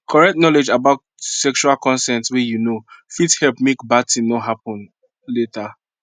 correct knowledge about sexual consent way you know fit help make bad thing no happen later